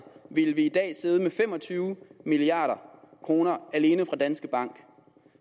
ville vi i dag have siddet med fem og tyve milliard kroner alene fra danske bank